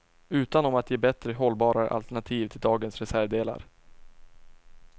Utan om att ge bättre och hållbarare alternativ till dagens reservdelar.